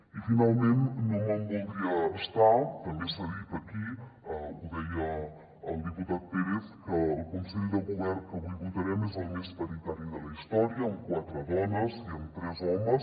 i finalment no me’n voldria estar també s’ha dit aquí ho deia el diputat pérez que el consell de govern que avui votarem és el més paritari de la història amb quatre dones i amb tres homes